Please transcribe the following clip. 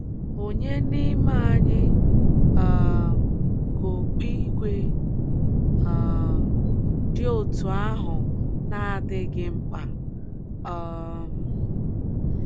Ònye n’ime anyị um ka okpu ígwè um dị otú ahụ na - adịghị mkpa um?